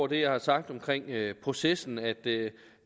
det jeg har sagt omkring processen nemlig at det